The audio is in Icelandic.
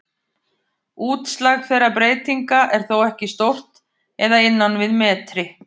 Útslag þeirra breytinga er þó ekki stórt eða innan við metri.